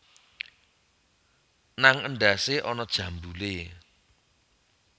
Nang endhasé ana jambulé